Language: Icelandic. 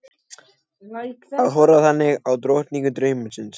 Að horfa þannig á drottningu draumsins.